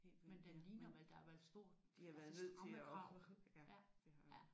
Men den ligner vel der er vel stor altså stramme krav?